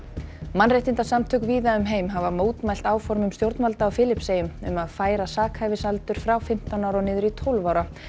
mannréttindasamtök víða um heim hafa mótmælt áformum stjórnvalda á Filippseyjum um að færa sakhæfisaldur frá fimmtán ára og niður í tólf ára